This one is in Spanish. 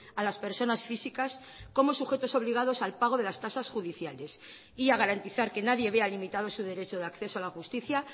a las personas físicas como sujetos obligados al pago de las tasas judiciales y a garantizar que nadie vea limitado su derecho de acceso a la justicia